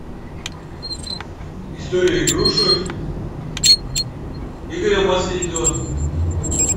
история игрушек игоря масленникова